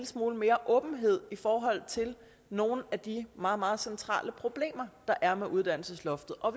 smule mere åbenhed i forhold til nogle af de meget meget centrale problemer der er med uddannelsesloftet og